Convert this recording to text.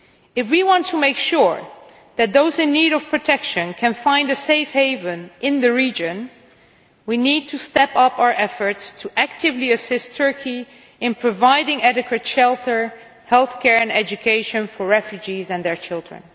If we want to make sure that those in need of protection can find a safe haven in the region, we need to step up our efforts actively to assist Turkey in providing adequate shelter, healthcare and education for refugees and their children.